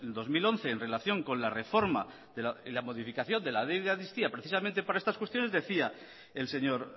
dos mil once en relación con la reforma y la modificación de la ley de amnistía precisamente para estas cuestiones decía el señor